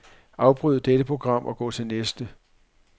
Afbryd dette program og gå til næste.